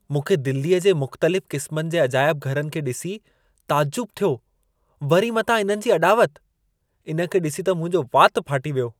मूंखे दिल्लीअ जे मुख़्तलिफ़ क़िस्मनि जे अजाइब घरनि खे डि॒सी ताजुब थियो। वरी मथां इन्हनि जी अॾावत! इन खे ॾिसी त मुंहिंजो वातु फाटी वियो।